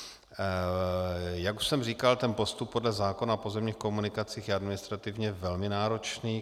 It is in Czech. Jak už jsem říkal, ten postup podle zákona o pozemních komunikacích je administrativně velmi náročný.